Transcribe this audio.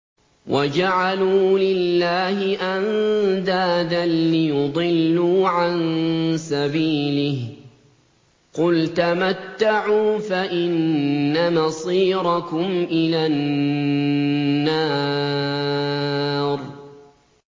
وَجَعَلُوا لِلَّهِ أَندَادًا لِّيُضِلُّوا عَن سَبِيلِهِ ۗ قُلْ تَمَتَّعُوا فَإِنَّ مَصِيرَكُمْ إِلَى النَّارِ